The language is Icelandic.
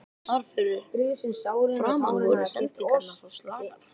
Þar fyrir framan voru sendingarnar svo slakar.